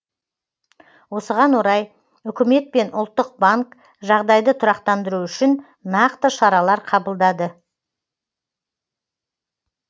осыған орай үкімет пен ұлттық банк жағдайды тұрақтандыру үшін нақты шаралар қабылдады